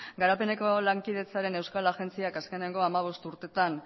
garapenerako lankidetzaren euskal agentziak azkeneko hamabost urtetan